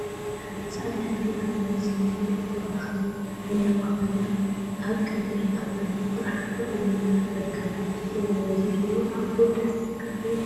ሓንቲ ፃዕዳ ሕብሪ ሃይላንድ ሰማያዊ ሕብሪ መክደን ዘለዋ ኮይና፤ አበ ቀይሕ ጣውላ ጥርሓ ተቀሚጣ ትርከብ፡፡ እሰይ! ናይዚ ቢሮ አቁሑ ደስ ክብሉ፡፡